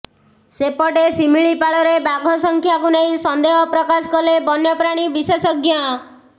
ସେପଟେ ଶିମିଳିପାଳରେ ବାଘସଂଖ୍ୟାକୁ ନେଇ ସନ୍ଦେହ ପ୍ରକାଶ କଲେ ବନ୍ୟପ୍ରାଣୀ ବିଶେଷଜ୍ଞ